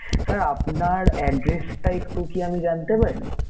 Sir আপনার address একটু কি আমি জানতে পারি?